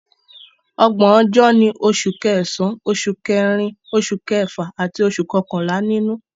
Ọgbọ̀n ọjọ́ ni Oṣù Kẹsàn-án, Oṣù Kẹrin, Oṣù Kẹfà àti Oṣù Kọkànlá nínú